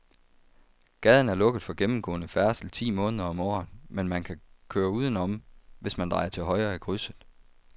Gaden er lukket for gennemgående færdsel ti måneder om året, men man kan køre udenom, hvis man drejer til højre i krydset.